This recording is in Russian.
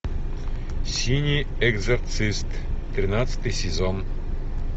синий экзорцист тринадцатый сезон